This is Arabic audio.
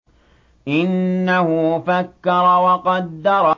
إِنَّهُ فَكَّرَ وَقَدَّرَ